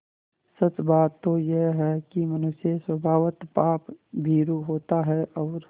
सच बात तो यह है कि मनुष्य स्वभावतः पापभीरु होता है और